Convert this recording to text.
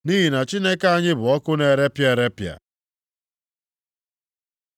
Nʼihi na Chineke anyị bụ ọkụ na-erepịa erepịa. + 12:29 \+xt Dit 4:24\+xt*